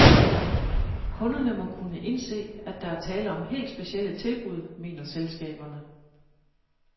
Kunderne må kunne indse, at der er tale om helt specielle tilbud, mener selskaberne.